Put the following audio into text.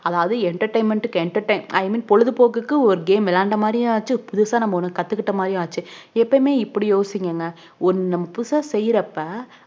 அதாவது entertainment க்கு entertainmenti mean பொழுதுபோக்குக்கு ஒரு game விளையாண்ட மாதிரியாச்சு புதுசா நம்ம கத்துக்கிட்ட மாதிரியும் ஆச்சு எப்போமே இப்புடி யோசிங்க நம்ம புதுசா செய்யுறப்ப